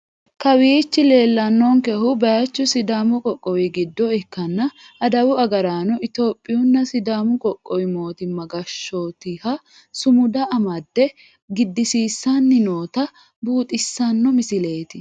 Kawiichi leellannonkehu baaychu sidaamu qoqqowi giddo ikkanna adawu agaraano itiyophiyunna sidaamu qoqqowi mootimma gashshootiha sumuda amadde giddisiissanni noota buuxissanno misileeti.